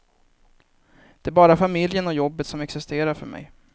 Det är bara familjen och jobbet som existerar för mej.